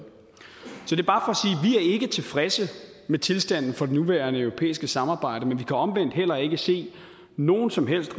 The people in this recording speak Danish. er tilfredse med tilstanden for det nuværende europæiske samarbejde men vi kan omvendt heller ikke se nogen som helst